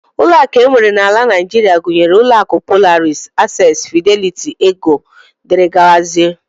Ụlọakụ e nwere n'ala Naijiria gụnyere ụlọakụ Polaris, access, Fidelity, Eco, dgz